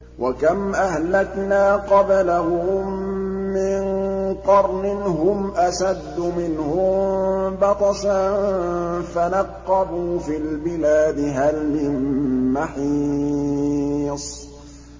وَكَمْ أَهْلَكْنَا قَبْلَهُم مِّن قَرْنٍ هُمْ أَشَدُّ مِنْهُم بَطْشًا فَنَقَّبُوا فِي الْبِلَادِ هَلْ مِن مَّحِيصٍ